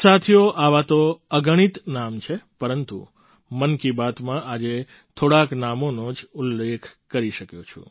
સાથીઓ આવાં તો અગણિત નામ છે પરંતુ મન કી બાતમાં આજે થોડાંક નામોનો જ ઉલ્લેખ કરી શક્યો છું